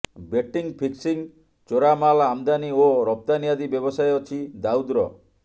betting fixing ଚୋରାମାଲ୍ ଆମଦାନୀ ଓ ରପ୍ତାନୀ ଆଦି ବ୍ୟବସାୟ ଅଛି ଦାଉଦର